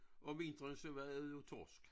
Om vinteren så var det jo torsk